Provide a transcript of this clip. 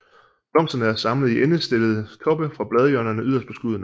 Blomsterne er samlet i endestillede toppe fra bladhjørnerne yderst på skuddene